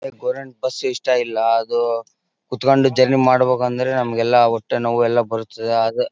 government bus ಇಷ್ಟ ಇಲ್ಲಾ ಅದು ಕುತ್ತಕೊಂಡು ಜರ್ನಿ ಮಾಡಬೇಕಂದ್ರೆ ನಮ್ಮಗೆಲ್ಲಾ ಹೊಟ್ಟೆ ನೋವು ಎಲ್ಲಾ ಬರುತ್ತೆ ಆದ್ರೆ--